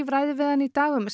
ræðir við hann í dag um